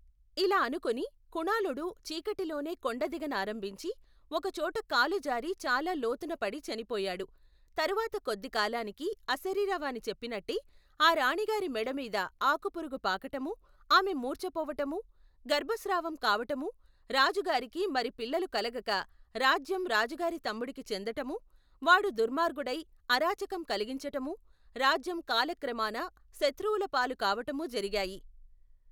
ఇలా అనుకుని కుణాళుడు చీకటిలోనే కొండదిగ నారంభించి, ఒకచోట కాలు జారి చాలా లోతున పడి చనిపోయాడు. తరవాత కొద్దికాలానికి, అశరీరవాణి చెప్పినట్టే, ఆ రాణిగారి మెడమీద ఆకుపురుగు పాకటమూ, ఆమె మూర్చపోవటమూ, గర్భ స్రావం కావటమూ, రాజుగారికి మరి పిల్లలు కలగక రాజ్యం రాజుగారి తమ్ముడికి చెందటమూ, వాడు దుర్మార్గుడై అరాచకం కలిగించటమూ, రాజ్యం కాలక్రమాన శత్రువుల పాలు కావటమూ జరిగాయి.